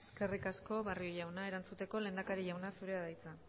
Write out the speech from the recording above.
eskerrik asko barrio jauna erantzuteko lehendakari jauna zurea da hitza